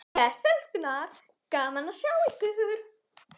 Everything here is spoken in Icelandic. Bless elskurnar, gaman að sjá ykkur!